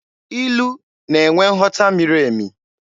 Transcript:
Ilu na-enwe nghọta miri emi.